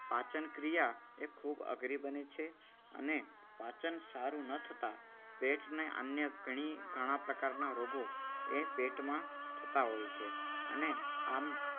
પાચન ક્રિયા એ ખૂબ અઘરી બને છે અને પાચન સારું ન થતાં પેટને અન્ય ગણી ઘણા પ્રકારના રોગો એ પેટમાં થતા હોય છે. અને આમ